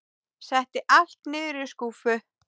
Setti allt niður í skúffu.